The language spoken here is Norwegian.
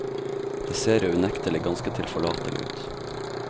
Det ser jo unektelig ganske tilforlatelig ut.